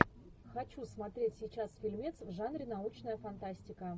хочу смотреть сейчас фильмец в жанре научная фантастика